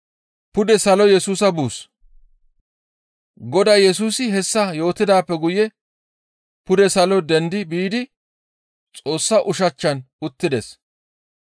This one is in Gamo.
Godaa Yesusi hessa yootidaappe guye pude salo dendi biidi Xoossa ushachchan uttides.